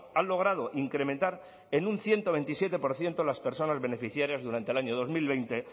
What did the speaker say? han logrado incrementar en un ciento veintisiete por ciento las personas beneficiarias durante el año dos mil veinte